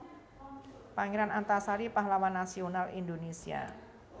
Pangeran Antasari Pahlawan Nasional Indonesia